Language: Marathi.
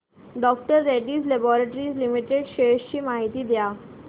डॉ रेड्डीज लॅबाॅरेटरीज लिमिटेड शेअर्स ची माहिती द्या